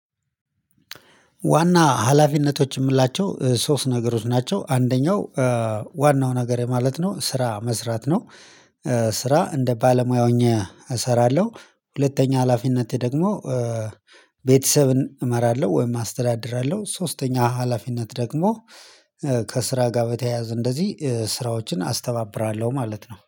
ዋና ሀላፊነቶች የምንላቸው ሶስት ነገሮች ናቸው አንደኛው ዋናው ነገሬ ማለት ነው ስራ መስራት ነው። ስራ እንደ ባለሙያ ሆኜ እሰራለሁ ሁለተኛ ሀላፊነቴ ደግሞ ቤተሰብን እመራለሁ ወይም አስተዳድራለሁ። ሶስተኛ ሀላፊነት ደግሞ ከስራ ጋር በተያያዘ እንደዚህ ስራዎችን አስተባብራለሁ ማለት ነው